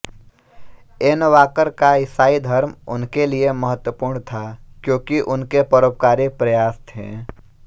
N Walker का ईसाई धर्म उनके लिए महत्वपूर्ण था क्योंकि उनके परोपकारी प्रयास थे